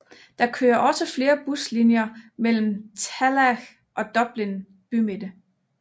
Der kører også flere buslinjer melem Tallaght og Dublin bymidte